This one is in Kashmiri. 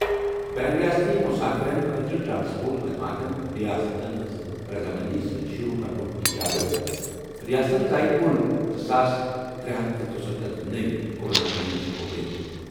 بین ریاستی مسافرن خٲطرٕ ٹرانسپورٹ خدماتن ریاستن ہنٛز رضامندی سۭتۍ شروع کرنک اجازت۔ رِیاستن منٛز آیہِ کُل زٕ ساس ترٛے ہتھ تہٕ ژُستتھَ نٔوۍ کورونا مٔریٖض اُبرِتھ۔